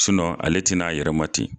ale tɛ na a yɛrɛma ten.